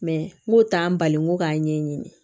n k'o t'an bali ko k'a ɲɛɲini